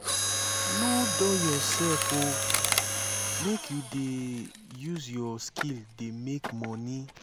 nor dull yoursef o make you dey use your skill dey make moni.